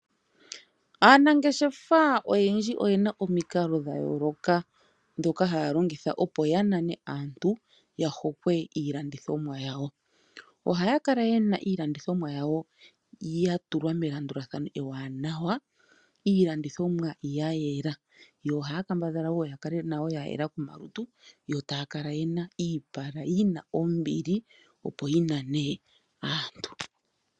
Aanangeshefa oyendji oyena omikalo dha yooloka ndhoka haya longitha opo ya nane aantu ya hokwe iilandithomwa yawo. Ohaya kala yena iilandithomwa yawo ya tulwa melandulathano ewanawa, iilandithomwa ya yela. Yo ohaya kambadhala woo yakale nayo yela komalutu gawo yo taya kala yena yina iipala yina ombili opo yinane aantu.